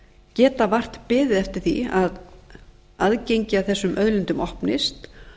geta vart beðið eftir því að aðgengi að þessum auðlindum opnist